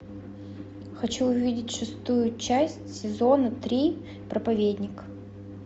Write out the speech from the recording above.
хочу увидеть шестую часть сезона три проповедник